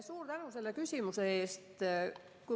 Suur tänu selle küsimuse eest!